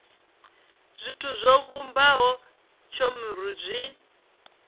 zwithu zwo vhumbaho cbnrm zwi